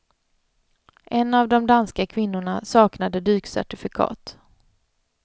En av de danska kvinnorna saknade dykcertifikat.